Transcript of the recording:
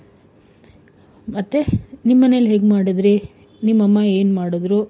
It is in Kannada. ಮತ್ತೆ? ನಿಮ್ ಮನೆನಲ್ಲಿ ಹೆಂಗ್ ಮಾಡಿದ್ರಿ? ನಿಮ್ ಅಮ್ಮ ಏನ್ ಮಾಡುದ್ರು?